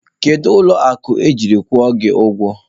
Kedu ụlọ akụ ejiri kwụọ gị ụgwọ?